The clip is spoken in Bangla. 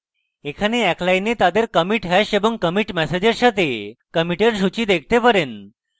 এখানে এক line তাদের commits hash ও commits ম্যাসেজের সাথে কমিটের সূচী দেখতে পারেন